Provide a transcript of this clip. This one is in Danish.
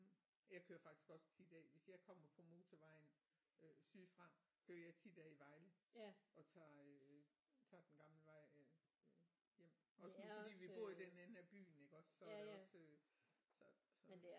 Jeg kører faktisk også tit af hvis jeg kommer på motorvejen øh sydfra kører jeg tit af i Vejle og tager øh tager den gamle vej øh hjem også når fordi vi bor i den ende af byen iggås så er det også øh så så